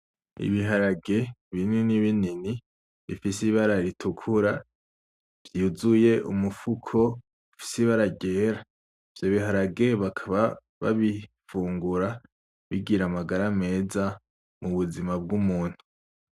Ibiharage bimwe binini binini bifise ibara ritukura vyuzuye umufuko bifise ibara ryera, ivyo biharage bakaba babivungura bigira amagara meza mu buzima bw'umuntu .